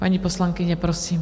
Paní poslankyně, prosím.